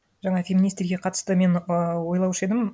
жаңа феминистерге қатысты мен і ойлаушы едім